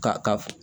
Ka ka